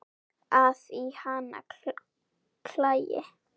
að í hana klæi